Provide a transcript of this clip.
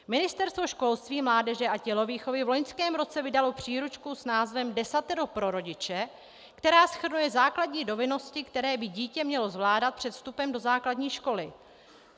Ministerstvo školství, mládeže a tělovýchovy v loňském roce vydalo příručku s názvem Desatero pro rodiče, která shrnuje základní dovednosti, které by dítě mělo zvládat před vstupem do základní školy.